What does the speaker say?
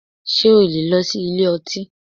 Ṣé o lè lọ sí ilé ọtí?